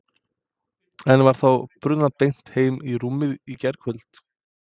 En var þá brunað beint heim í rúmið í gærkvöld?